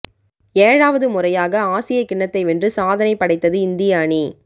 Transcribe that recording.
ஏழாவது முறையாக ஆசிய கிண்ணத்தை வென்று சாதனை படைத்தது இந்திய அணி